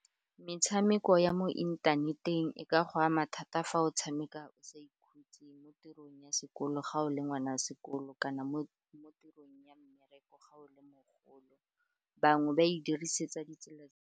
Metshameko ya mo inthaneteng e ka go ama thata fa o tshameka o sa ikhutse mo tirong ya sekolo ga o le ngwana sekolo, kana mo tirong ya mmereko, ga o le mogolo bangwe ba e dirisetsa ditsela.